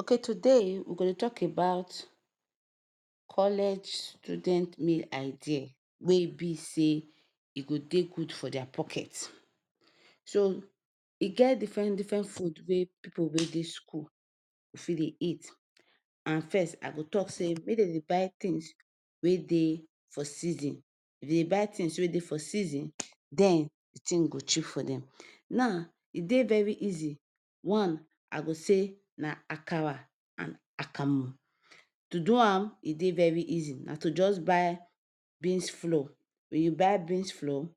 Okay, today we go dey tok about college student meal idea wey be say e go dey good for dia pocket. So, e get diffren different food wey pipu wey dey school go fit dey eat. And first, I go tok say make dem dey buy tins wey dey for season. If dem dey buy tins wey dey for season, den di tin go cheap for dem. Now, one easy one I go say na akara and akamu. To do am e dey very easy. Na to just buy beans flour. If you buy beans flour,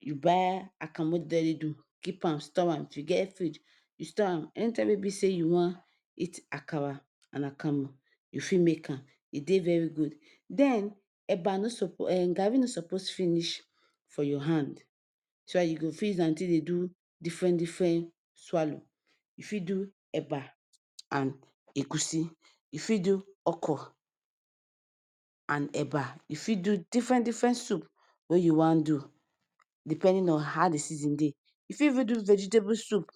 you buy akamu wey dem don already do, keep am, store am. If you get fridge, you store am. Anytime wey be say you wan eat akara and akamu, you fit make am. E dey very good. Den eba no suppose garri no suppose finish for your hand so dat you fit use am take dey do diffren diffren swallow. You fit do eba and egusi, you fit do okro and eba, you fit do diffren diffren soup wey you wan do, depending on how di season dey. Even do vegetable soup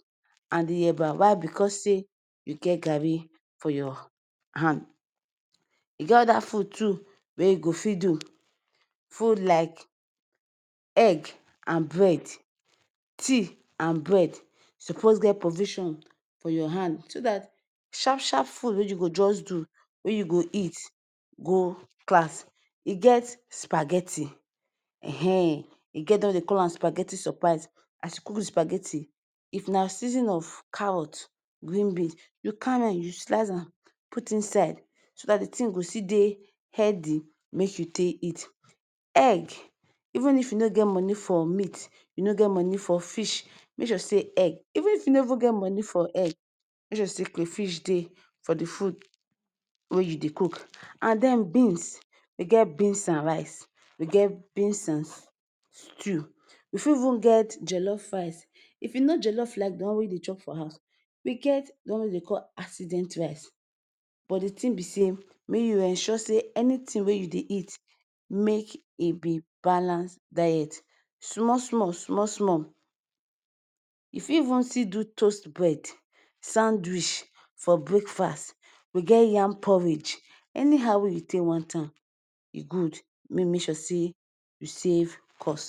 and di eba. Why? Bicos say you get garri for your hand. E get oda food too wey you go fit do. Food like egg and bread, tea and bread. Suppose get provisions for your hand so dat sharp sharp food wey you go just do, wey you go eat go class. E get spaghetti. E get di one wey dem dey call am spaghetti surprise. Spaghetti if na season of carrot and green beans, you carry am slice am put inside so dat di tin go still dey healthy make you take eat. Egg even if you no get money for meat, you no get money for fish make sure say egg... even if you no even get money for egg, make sure say crayfish dey for di food wey you dey cook. And den beans. You get beans and rice, you get beans and stew. We fit even get jollof rice if you know jellof like di one wey you dey chop for house. We get di one wey we dey call accident rice, but di tin be say make you ensure say anything wey you dey eat, make e be balance diet. Small small, small small, you fit even do toast bread sandwich for breakfast. We get yam porridge anyhow wey you take want am. E good make you make sure say you save cost.